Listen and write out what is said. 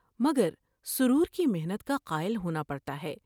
مگر سرور کی محنت کا قائل ہونا پڑتا ہے ۔